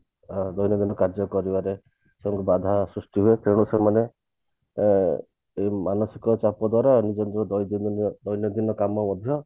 ଅ ଦୈନନ୍ଦିନ କାର୍ଯ୍ୟ କରିବାରେ ତାଙ୍କୁ ବାଧା ସୃଷ୍ଟି ହୁଏ ତେଣୁ ସେମାନେ ଅ ଏଇ ମାନସିକ ଚାପ ଦ୍ଵାରା ନିଜ ନିଜ ଦୈନନ୍ଦିନ କାମ ମଧ୍ୟ